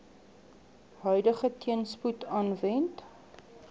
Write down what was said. huidige teenspoed aanwend